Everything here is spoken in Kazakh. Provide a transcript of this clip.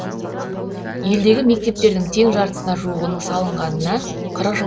елдегі мектептердің тең жартысына жуығының салынғанына қырық жыл